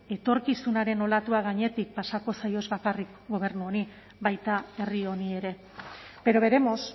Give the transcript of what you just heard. etorkizunaren olatua gainetik pasako zaio ez bakarrik gobernu honi baita herri honi ere pero veremos